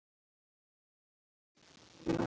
Lúlli væri ekki til.